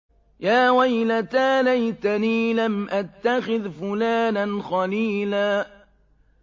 يَا وَيْلَتَىٰ لَيْتَنِي لَمْ أَتَّخِذْ فُلَانًا خَلِيلًا